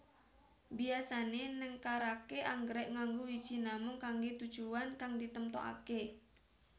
Biyasané nengkaraké anggrèk nganggo wiji namung kanggé tujuwan kang ditemtokaké